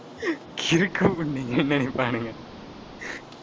நினைப்பாங்க